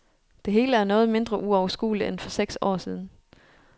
Det hele er noget mindre uoverskueligt end for seks år siden.